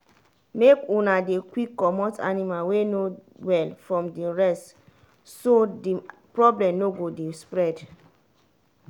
make una dey quick comot animal wey no well from the rest so the problem no go dey spread